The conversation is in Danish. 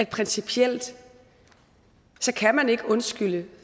principielt ikke kan undskylde